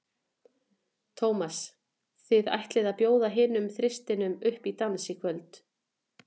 Tómas, þið ætlið að bjóða hinum þristinum upp í dans í kvöld?